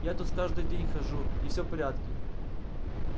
я тут каждый день хожу и всё в порядке